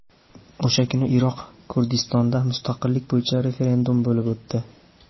O‘sha kuni Iroq Kurdistonida mustaqillik bo‘yicha referendum bo‘lib o‘tdi.